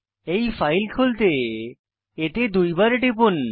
এই ফাইলটি খুলতে এতে দুইবার টিপুন